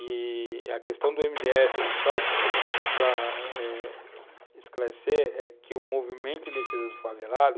i-i a questão do MDF, só para esclarecer, é que o movimento em defesa do favelado